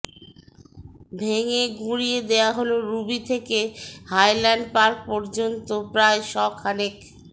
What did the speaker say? ভেঙে গুঁড়িয়ে দেওয়া হল রুবি থেকে হাইল্যান্ড পার্ক পর্যন্ত প্রায় শখানেক